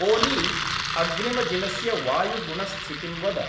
ऒली, अग्रिमदिनस्य वायुगुणस्थितिं वद